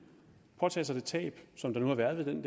påtage sig det tab som der nu har været ved den